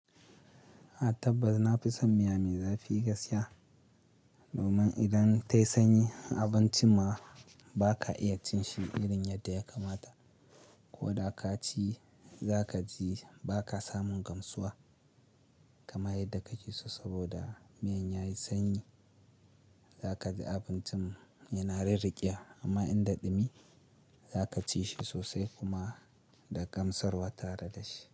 Na tabbata na fi son miya mai zafi gaskiya. Domin idan ta yi sanyi abincin ma ba ka iya cin shi irin yadda ya kamata. Ko da ka ci za ka ji ba ka samun gamsuwa kamar yadda kake so saboda miyan ya yi sanyi. Za ka ji abincin yana rirriƙewa amma in da ɗumi za ka ci shi sosai kuma da gamsarwa tare da shi.